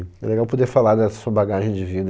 É legal poder falar da sua bagagem de vida.